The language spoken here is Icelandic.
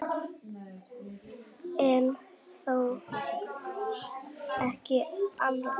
En þó ekki alveg.